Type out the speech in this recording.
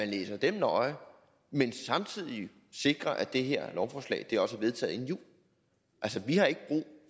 læser dem nøje men samtidig sikrer at det her lovforslag også er vedtaget inden jul altså vi har ikke brug